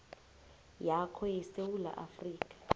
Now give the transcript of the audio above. yakho yesewula afrika